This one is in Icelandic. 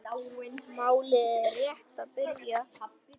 Málið er rétt að byrja.